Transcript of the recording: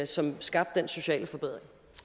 som skabte den sociale forbedring